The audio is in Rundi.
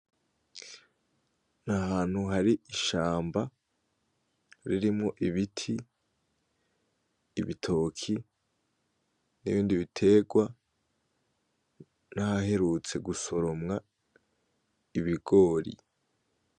Nahantu hari ishamba ririmwo ibiti, ibitoki nibindi biterwa nahaherutse gusoromwa ibigori.